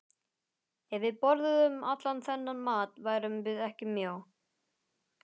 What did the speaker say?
Ef við borðuðum allan þennan mat værum við ekki mjó.